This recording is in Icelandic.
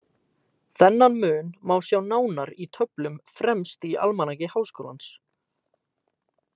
Þennan mun má sjá nánar í töflum fremst í Almanaki Háskólans.